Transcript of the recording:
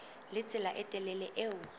le tsela e telele eo